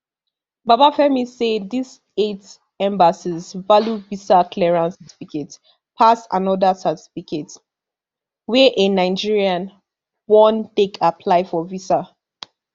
babafemi say dis eight embassies value visa clearance certificate pass anoda certificate wey a nigerian wan take apply for visa